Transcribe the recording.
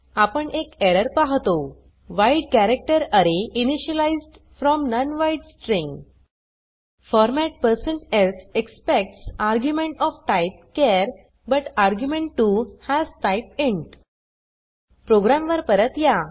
आपण एक एरर पाहतो wide character array initialised from non wide string formats expects argument of type char but argument 2 has type int program वर परत या